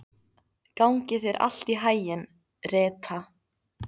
Gangi þér allt í haginn, Rita.